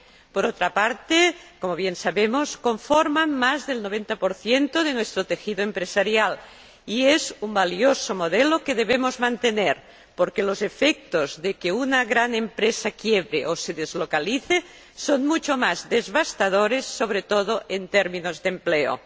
Por otra parte, como bien sabemos, conforman más del 90 de nuestro tejido empresarial y son un valioso modelo que debemos mantener, porque los efectos de que una gran empresa quiebre o se deslocalice son mucho más devastadores, sobre todo en términos de empleo.